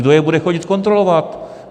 Kdo je bude chodit kontrolovat?